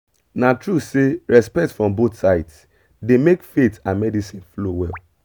na true say respect from both sides dey make faith and medicine flow well